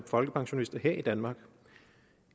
folkepensionister her i danmark